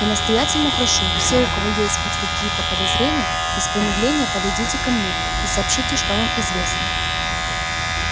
я настоятельно прошу все у кого есть хоть какие-то подозрения без промедления подойдите ко мне и сообщите что вам известно